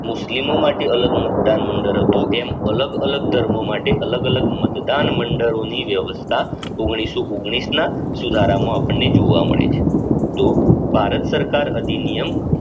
મુસ્લિમો માટે અલગ મતદાન મંડળ હતું એમ અલગ અલગ ધર્મ માટે અલગ અલગ મતદાન મંડળો ની વ્યવસ્થા ઓગણીસો ઓગણીસ ના સુધારા માં અપદને જોવા મળે છે તો ભારત સરકાર અધિનિયમ